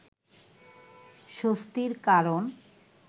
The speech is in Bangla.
স্বস্তির কারণ